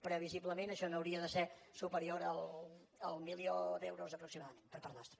previsiblement això no hauria de ser superior al milió d’euros aproximadament per part nostra